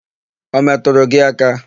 Ọ metụrụ gị aka?